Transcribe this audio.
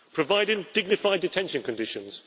providing dignified detention conditions